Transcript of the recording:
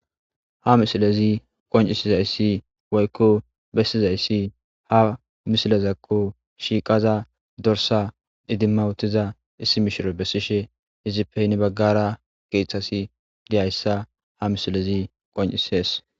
Ha misilezi qoncisizaysi woyko besizaysi ha misileko shiiqada dorssa idimawutida issi mishiriwu besishe izipe hini bagara kathazi de'iyaysa ha misilezi qoncises.